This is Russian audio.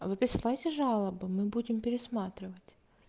а вы присылаете жалобы мы будем пересматривать